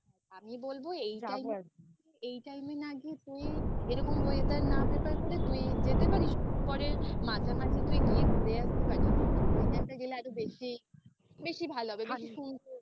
আমি বলবো এই time এ না গিয়ে তুই এরকম weather না prefer করে তুই যেতে পারিস October এর মাঝামাঝি তুই গিয়ে ঘুরে আসতে পারিস ওই time টায় গেলে আরো বেশি ভালো হবে বেশি সুন্দর